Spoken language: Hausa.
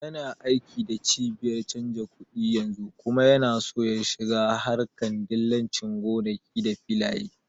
Yana aiki da cibiyar canja kuɗi yanzu kuma yana so ya shiga harƙar dillancin gonaki da filaye